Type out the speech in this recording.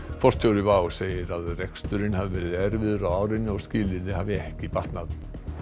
forstjóri WOW segir að reksturinn hafi verið erfiður á árinu og skilyrði hafi ekki batnað